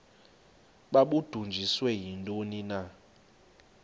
babudunjiswe yintoni na